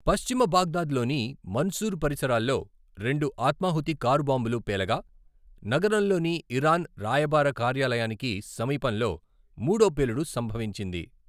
పశ్చిమ బాగ్దాద్లోని మన్సూర్ పరిసరాల్లో రెండు ఆత్మాహుతి కారు బాంబులు పేలగా, నగరంలోని ఇరాన్ రాయబార కార్యాలయానికి సమీపంలో మూడో పేలుడు సంభవించింది.